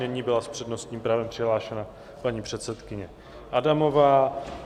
Nyní byla s přednostním právem přihlášena paní předsedkyně Adamová.